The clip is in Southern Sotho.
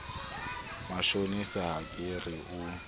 moshaneso ha ke re o